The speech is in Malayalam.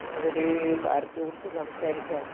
ഞാനൊരു കാര്യത്തെക്കുറിച്ച് സംസാരിക്കാനാ.